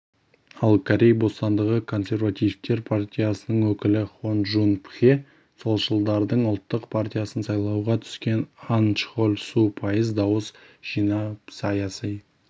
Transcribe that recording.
ал корей бостандығы консервативтер партиясының өкілі хон джун пхе солшылдардың ұлттық партиясынан сайлауға түскен ан чхоль су пайыз дауыс жинап саяси